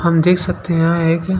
हम देख सकते हैं यहाँ एक--